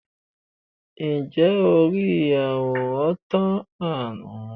ǹjẹ́ o rí àwòrán tán-án-na?